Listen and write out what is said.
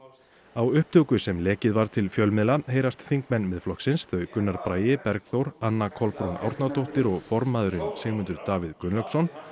á upptöku sem lekið var til fjölmiðla heyrast þingmenn Miðflokksins þau Gunnar Bragi Bergþór Anna Kolbrún Árnadóttir og formaðurinn Sigmundur Davíð Gunnlaugsson